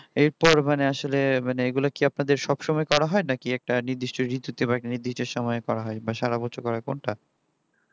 এরপর মানে আসলে মানে এগুলা কি আপনাদের সবসময় করা হয় নাকি একটা নির্দিষ্ট করা হয় নাকি একটা নির্দিষ্ট ঋতুতে নাকি নির্দিষ্ট সময়ে করা হয় সারা বছর করা হয় কোনটা